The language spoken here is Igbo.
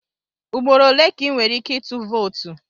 Ugboro ole ka ị nwere ike ịtụ vootu?